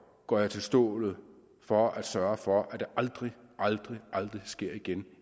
går jeg til stålet for at sørge for at det aldrig aldrig aldrig sker igen